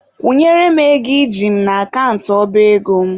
Kwụnyere m ego iji m n'akant ọba ego m!.